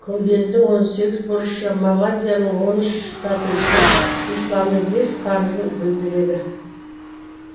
күмбездің он сегіз бұрышы малазияның он үш штаты мен исламның бес парызын білдіреді